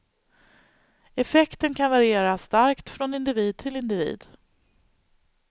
Effekten kan variera starkt från individ till individ.